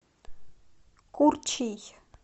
курчий